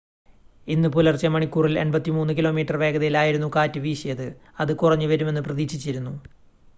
ഇന്ന് പുലർച്ചെ മണിക്കൂറിൽ 83 കിലോമീറ്റർ വേഗതയിൽ ആയിരുന്നു കാറ്റ് വീശിയത് അത് കുറഞ്ഞുവരുമെന്ന് പ്രതീക്ഷിച്ചിരുന്നു